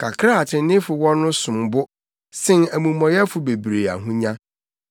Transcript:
Kakra a atreneefo wɔ no som bo sen amumɔyɛfo bebree ahonya;